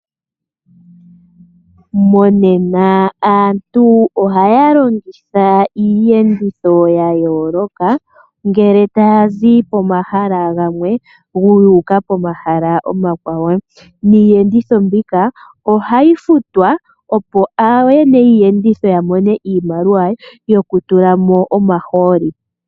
Monena aantu ohaya longitha iiyenditho ya yooloka ngele taya zi pomahala gamwe yu uka komahala omakwawo. Iiyenditho mbika ohayi futwa opo ooyene yiiyenditho ya mone iimaliwa yokutula mo omahooli.